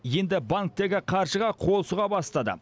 енді банктегі қаржыға қол сұға бастады